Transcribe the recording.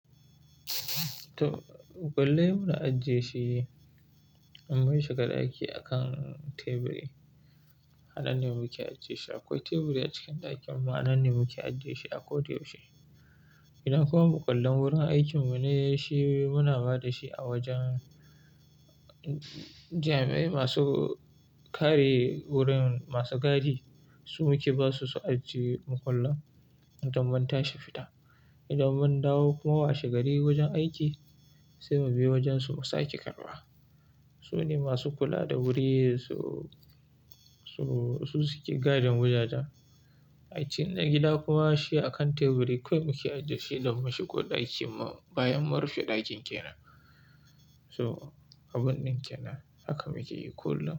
To, makwullai mu na ajiye shi, in mun shiga ɗaki a kan teburi. Ananne ne muke ajiye shi. Akwai teburi a cikin ɗakin mu, a nanne muke ajiye shi a ko da yaushe. Idan kuma makwallen wurin aikin mu ne shi, muna ba da shi a wajen jam'i masu kare wurin, masu gadi. Su muke ba su su ajiye mu makwallen idon mun tashi fita. Idan mun dawo kuma washe gari wajen aiki, sai mu bi wajen su mu sa ke karɓa. Su ne masu kula da wuri, su, su suke gadin wajajen. A cikin na gida kuma shi a kan teburi kawai muke ajiye shi don bamu shi ko ɗaki mu bayan mun rufe ɗakin kenan. So, abun ɗin kenan haka muke yi kullum.